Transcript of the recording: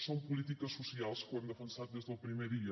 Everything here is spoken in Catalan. són polítiques socials que ho hem defensat des del primer dia